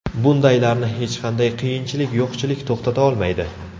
Bundaylarni hech qanday qiyinchilik, yo‘qchilik to‘xtata olmaydi.